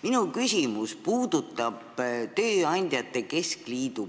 Minu küsimus puudutab tööandjate keskliidu